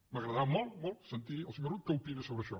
m’agradarà molt molt sentir el senyor rull què opina sobre això